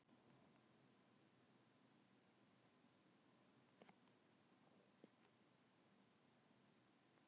Hvaða sjálfsstjórnarhéraði tilheyrir Cathay Pacific flugfélagið?